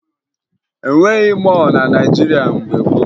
E nweghi mọọlụ na Naịjirịa mgbe gboo